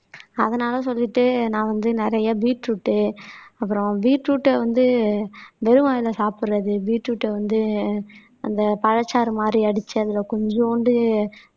அதனால சொல்லிட்டு நான் வந்து நிறைய பீட்ரூட் அப்பறோம் பீட்ரூட வந்து வெறும் வாய்ல சாப்பிடுறது பீட்ரூட்டை வந்து அந்த பழச்சாறு மாதிரி அடிச்சு அதுல கொஞ்சூண்டு